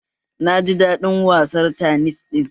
Na ji daɗin wasar tanis ɗin